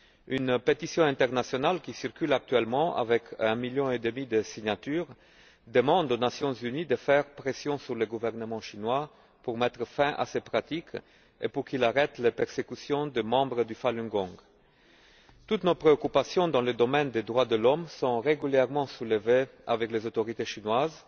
Une pétition internationale, qui circule actuellement avec un million et demi de signatures demande aux Nations unies de faire pression sur le gouvernement chinois pour mettre fin à ces pratiques et pour qu'il arrête les persécutions des membres du Falun Gong. Toutes nos préoccupations dans le domaine des droits de l'homme sont régulièrement soulevées avec les autorités chinoises